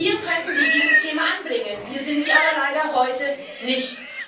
Hier könnten sie dieses Thema anbringen, hier sind sie aber leider heute nicht.